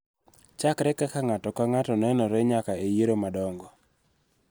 Chakre kaka ng�ato ka ng�ato nenore nyaka e yiero madongo.